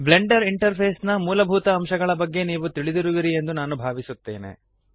Blender interface ನ ಮೂಲಭೂತ ಅಂಶಗಳ ಬಗೆಗೆ ನೀವು ತಿಳಿದಿರುವಿರಿ ಎಂದು ನಾನು ಭಾವಿಸುತ್ತೇನೆ